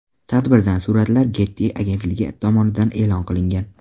Tadbirdan suratlar Getty agentligi tomonidan e’lon qilingan .